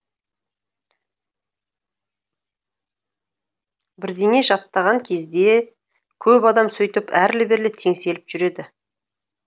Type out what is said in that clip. бірдеңе жаттаған кезде көп адам сөйтіп әрлі берлі теңселіп жүреді